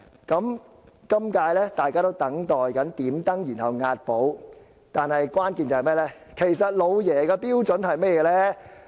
今屆大家都在等待"點燈"，然後"押寶"，但關鍵在於"老爺"的標準為何。